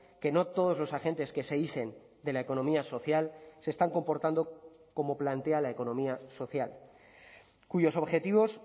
que no todos los agentes que se dicen de la economía social se están comportando como plantea la economía social cuyos objetivos